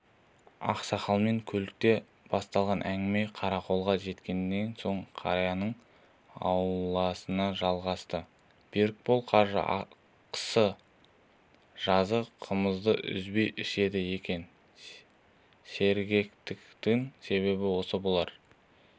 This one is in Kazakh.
ақсақалмен көлікте басталған әңгіме қарақолға жеткеннен соң қарияның ауласында жалғасты берікбол қажы қысы-жазы қымызды үзбей ішеді екен сергектігінің себебі осы болар